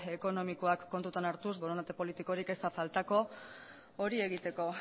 ekonomikoak kontutan hartuz borondate politikorik ez da faltako hori egiteko